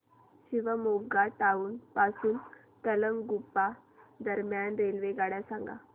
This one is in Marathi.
शिवमोग्गा टाउन पासून तलगुप्पा दरम्यान रेल्वेगाड्या सांगा